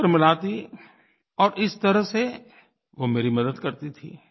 वह उत्तर मिलाती और इस तरह से वो मेरी मदद करती थी